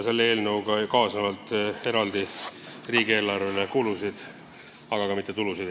Selle eelnõuga ei kaasne riigieelarvele eraldi kulusid, aga ei tule ka tulusid.